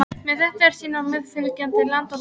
Þetta er sýnt á meðfylgjandi mynd og töflu.